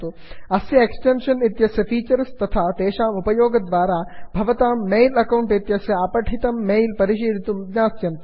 अस्य एक्टेन्षन् इत्यस्य फीचर्स् तथा तेषाम् उपयोगद्वारा भवतां मेल् अकौण्ट् इत्यस्य अपठितं मेल् परिशीलयितुं ज्ञास्यन्तु